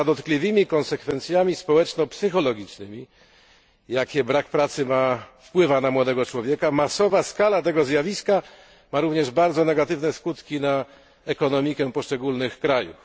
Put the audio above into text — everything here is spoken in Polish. Poza dotkliwymi konsekwencjami społeczno psychologicznymi, jakie brak pracy ma dla młodego człowieka, masowa skala tego zjawiska ma również bardzo negatywne skutki dla ekonomiki poszczególnych krajów.